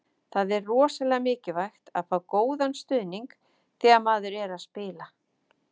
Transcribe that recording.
Það er rosalega mikilvægt að fá góðan stuðning þegar maður er að spila.